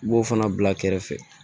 I b'o fana bila kɛrɛfɛ